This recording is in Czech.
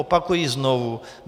Opakuji znovu.